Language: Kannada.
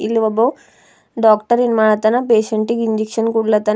ಇಲ್ಲೊಬ್ಬ ಡಾಕ್ಟರ್ ಏನ್ ಮಾಡತನ ಪೇಷಂಟ್ ಗಿ ಇಂಜೆಕ್ಷನ್ ಕೊಡತಾನ.